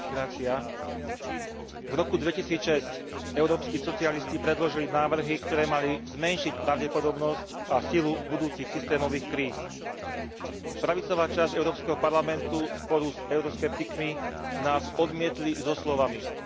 V roku 2006 európski socialisti predložili návrhy, ktoré mali zmenšiť pravdepodobnosť a silu budúcich systémových kríz. Pravicová časť Európskeho parlamentu spolu s euroskeptikmi nás odmietli so slovami Trh všetko vyrieši sám.